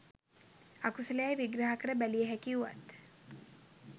අකුසලයැයි විග්‍රහකර බැලිය හැකි වුවත්